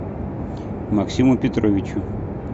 максиму петровичу